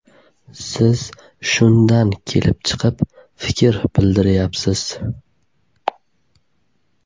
Siz shundan kelib chiqib fikr bildiryapsiz.